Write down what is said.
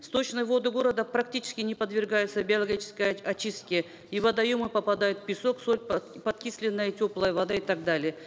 сточные воды города практически не подвергаются биологической очистке и в водоемы попадают песок соль подкисленная теплая вода и так далее